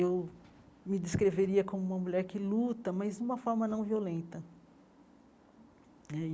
Eu me descreveria como uma mulher que luta, mas de uma forma não violenta né.